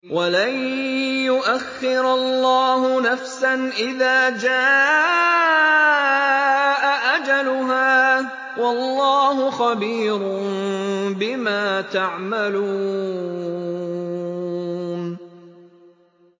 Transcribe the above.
وَلَن يُؤَخِّرَ اللَّهُ نَفْسًا إِذَا جَاءَ أَجَلُهَا ۚ وَاللَّهُ خَبِيرٌ بِمَا تَعْمَلُونَ